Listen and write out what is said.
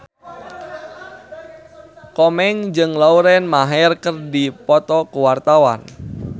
Komeng jeung Lauren Maher keur dipoto ku wartawan